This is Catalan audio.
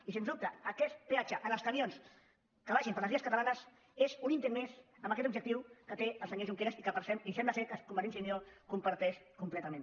i sens dubte aquest peatge als camions que vagin per les vies catalanes n’és un intent més amb aquest objectiu que té el senyor oriol junqueras i que sembla que convergència i unió comparteix completament